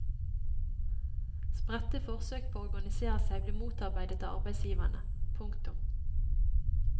Spredte forsøk på å organisere seg blir motarbeidet av arbeidsgiverne. punktum